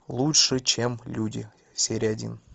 лучше чем люди серия один